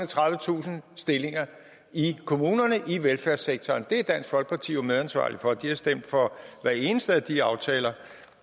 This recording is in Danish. tredivetusind stillinger i kommunerne i velfærdssektoren det er dansk folkeparti jo medansvarlig for de har stemt for hver eneste af de aftaler